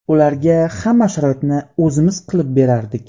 Ularga hamma sharoitni o‘zimiz qilib berardik.